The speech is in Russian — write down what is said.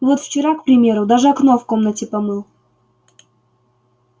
вот вчера к примеру даже окно в комнате помыл